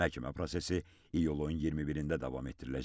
Məhkəmə prosesi iyulun 21-də davam etdiriləcək.